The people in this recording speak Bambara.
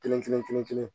Kelen kelen kelen kelen